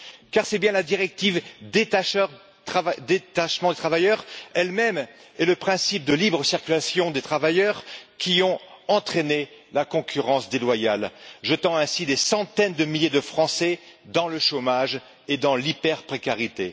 Car c'est bien la directive sur le détachement des travailleurs elle même et le principe de libre circulation des travailleurs qui ont entraîné la concurrence déloyale, jetant ainsi des centaines de milliers de Français dans le chômage et dans l'hyper précarité.